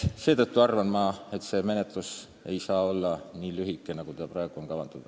Seetõttu arvan, et see menetlus ei saa olla nii lühike, nagu praegu on kavandatud.